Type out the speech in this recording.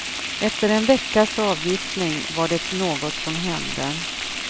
Efter en veckas avgiftning var det något som hände.